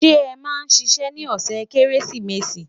ṣé é má ṣiṣẹ ní ọsẹ kérésìmesì?